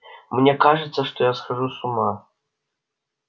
мне кажется что я схожу с ума